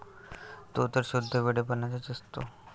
तो तर शुद्ध वेडेपणाच असतो.